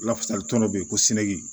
Lafasali tɔnɔ bɛ yen ko seki